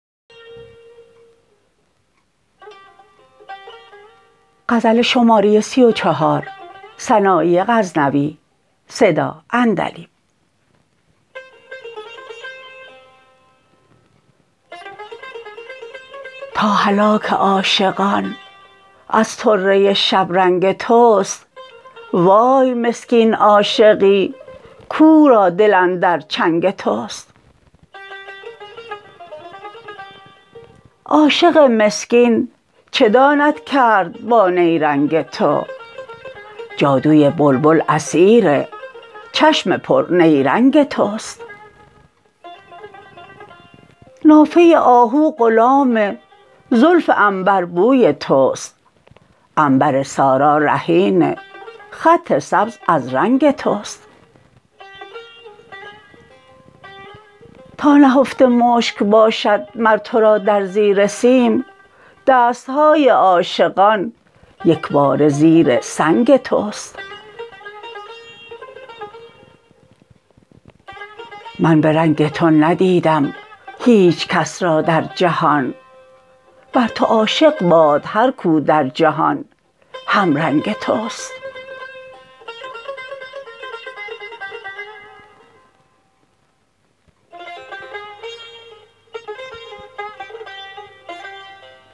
تا هلاک عاشقان از طره شبرنگ توست وای مسکین عاشقی کو را دل اندر چنگ توست عاشق مسکین چه داند کرد با نیرنگ تو جادوی بلبل اسیر چشم پر نیرنگ توست نافه آهو غلام زلف عنبر بوی توست عنبر سارا رهین خط سبز از رنگ توست تا نهفته مشک باشد مر تو را در زیر سیم دست های عاشقان یک باره زیر سنگ توست من به رنگ تو ندیدم هیچ کس را در جهان بر تو عاشق باد هر کو در جهان هم رنگ توست